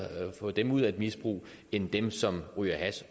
få dem ud af et misbrug end dem som ryger hash